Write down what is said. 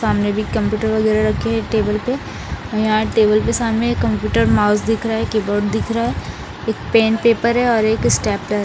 सामने भी कंप्यूटर वगेरा रखे हैं टेबल पे और यहाँ टेबल के सामने कंप्यूटर माउस दिख रहा हैं एक कीबोर्ड दिख रहा हैं पेन पेपर हैं और एक स्टेप्लर --